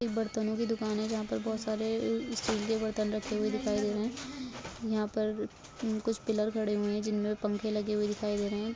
एक बर्तन की दुकान है जहाँ पर बहोत सारे अ-स्टील के बर्तन रखे हुए दिखाई दे रहे है यहाँ पर कुछ पिलर खड़े हुए हैं जिनमे पंखे लगे हुए दिखाई दे रहे हैं।